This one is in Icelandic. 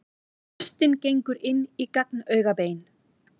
Hlustin gengur inn í gagnaugabein.